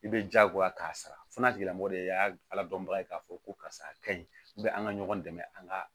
I bɛ jagoya k'a sara o n'a tigilamɔgɔ de y'a ala dɔnbaga ye k'a fɔ ko karisa a ka ɲi bɛ an ka ɲɔgɔn dɛmɛ an ka